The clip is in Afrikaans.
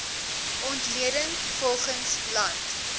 ontleding volgens land